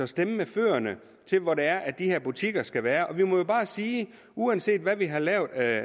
stemme med fødderne hvor det er de her butikker skal være vi må jo bare sige at uanset hvad vi har lavet af